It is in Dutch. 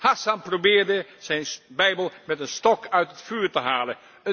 Hassan probeerde zijn bijbel met een stok uit het vuur te halen.